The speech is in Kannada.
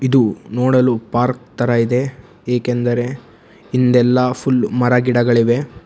ಇದು ನೋಡಲು ಪಾರ್ಕ್ ತರ ಇದೆ ಏಕೆಂದರೆ ಇಂದಲ್ಲ ಫುಲ್ ಮರಗಿಡಗಳಿವೆ.